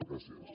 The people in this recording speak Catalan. gràcies